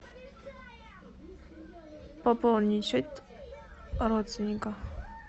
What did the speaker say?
пополнить счет родственника